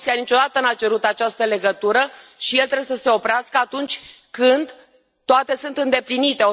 Comisia niciodată nu a cerut această legătură, și el trebuie să se oprească atunci când toate sunt îndeplinite.